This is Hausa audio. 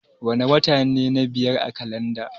Wana wata ne na biyar a kalanda?